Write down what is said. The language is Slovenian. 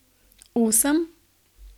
Osem?